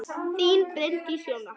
Þín, Bryndís Jóna.